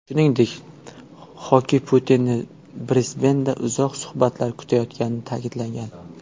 Shuningdek, Xoki Putinni Brisbenda uzoq suhbatlar kutayotganini ta’kidlagan.